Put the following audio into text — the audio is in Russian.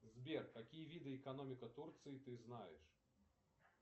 сбер какие виды экономика турции ты знаешь